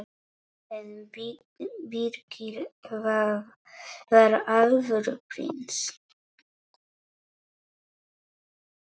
En Birkir var alvöru prins.